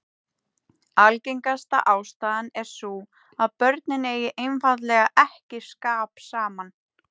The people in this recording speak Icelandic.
Algengasta ástæðan er sú að börnin eigi einfaldlega ekki skap saman.